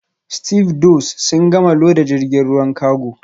Stevedores sun gama loda jirgin ruwan kago